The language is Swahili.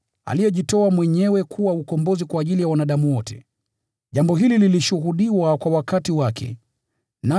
aliyejitoa mwenyewe kuwa fidia kwa ajili ya wanadamu wote: jambo hili lilishuhudiwa kwa wakati wake ufaao.